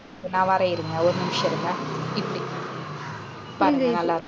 நான் வரேன் இருங்க ஒரு நிமிஷம் இருங்க. இப்பிடி பாருங்க நல்லாருக்கு